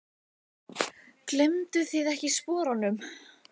Gleymduð þið ekkert sporunum?